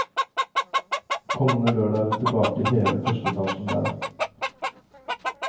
Kommende lørdag er hun tilbake i hele første etasjen der.